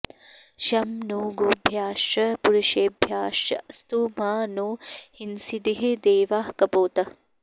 शं नो॒ गोभ्य॑श्च॒ पुरु॑षेभ्यश्चास्तु॒ मा नो॑ हिंसीदि॒ह दे॑वाः क॒पोतः॑